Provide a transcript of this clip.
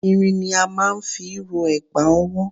Irin ni a máà ń fi rọ ẹ̀gbà ọwọ́.